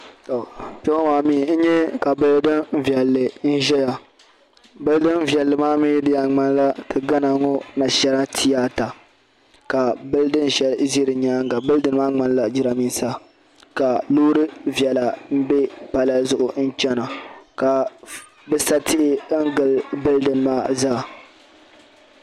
To kpe ŋɔ maa mi n nye ka bulidinnim biɛni bulidinviɛlli maa diyan ŋmanila ti gana ŋɔ naashina tiyaata ka bilidin shɛli ʒi di nyaaŋa bilidini maa ŋmanila giraanmiisa ka loori viɛla be pala zuɣu n chana ka bi sa tihi n gili pala maa zaa.